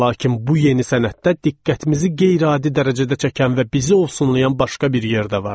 Lakin bu yeni sənətdə diqqətimizi qeyri-adi dərəcədə çəkən və bizi ovsunlayan başqa bir yerdə vardı.